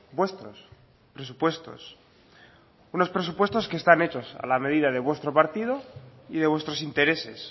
vuestros presupuestos unos presupuestos que están hechos a la medida de vuestro partido y de vuestros intereses